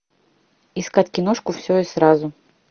искать киношку все и сразу